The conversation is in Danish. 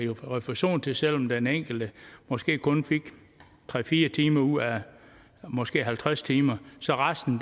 refusion til selv om den enkelte måske kun fik tre fire timer ud af måske halvtreds timer så resten